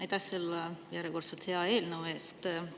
Aitäh selle järjekordse hea eelnõu eest!